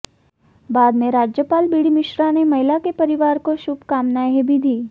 बाद में राज्य पाल बीडी मिश्रा ने महिला के परिवार को शुभकामनाएं भी दीं